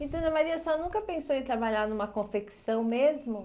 E dona Maria, a senhora nunca pensou em trabalhar numa confecção mesmo?